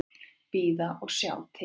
Bíða og sjá til.